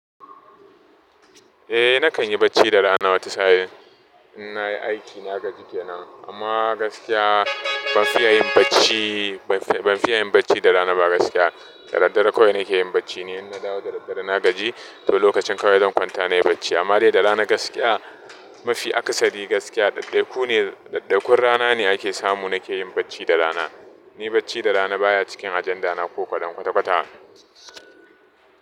Eh nakan yi bacci da rana wata sa'in in na yi aiki na gaji kenan. Amma gaskiya ban fiya yin bacci, ban fiya yin bacci da rana ba gaskiya. Da daddare kawai nake yin bacci ne in na dawo da daddare na gaji, to lokacin kawai zan kwanta na yi bacci. Amma dai da rana gaskiya mafi akasari gaskiya ɗai ɗai ku ne, ɗai ɗai kun rana ne ake samu nake yin bacci da rana. Ni bacci da rana baya cikin ajanda na ko kaɗan kwata kwata.